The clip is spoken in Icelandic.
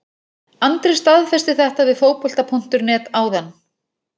Andri staðfesti þetta við Fótbolta.net áðan.